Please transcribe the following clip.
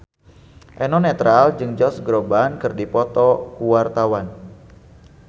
Eno Netral jeung Josh Groban keur dipoto ku wartawan